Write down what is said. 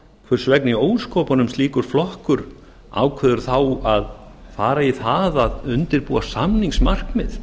hvers vegna í ósköpunum slíkur flokkur ákveður þá að fara í það að undirbúa samningsmarkmið